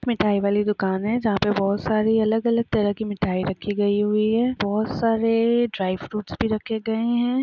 मिटाई वाली दुकानें जा पे बहुत सारी अलग अलग तरह की मिठाई रखी गई हुई है। बहुत सारे ड्राई फ्रूट्स भी रखे गए हैं।